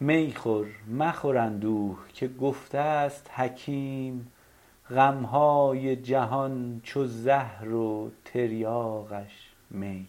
می خور مخور اندوه که گفته است حکیم غم های جهان چو زهر و تریاقش می